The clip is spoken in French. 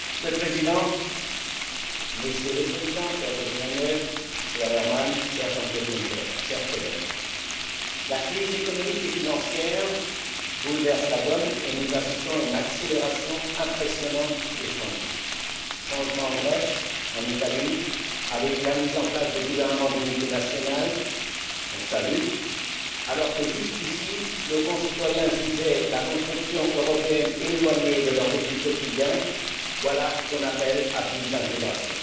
Monsieur le Président, Messieurs les Présidents, cher José Manuel Barroso, cher Herman Van Rompuy, cher Jean Claude Juncker, chers collègues, la crise économique et financière bouleverse la donne et nous assistons à une accélération impressionnante des changements changements en Grèce, en Italie, avec la mise en place de gouvernements d'unité nationale, que nous saluons alors que jusqu'ici, nos concitoyens jugeaient la construction européenne éloignée de leur vécu quotidien, voilà qu'on appelle à plus d'intégration.